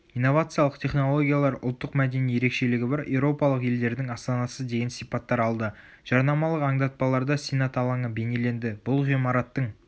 инновациялық технологиялар ұлттық мәдени ерекшелігі бар еуропалық елдердің астанасы деген сипаттар болды.жарнамалық аңдатпаларда сенат алаңы бейнеленді бұл ғимараттың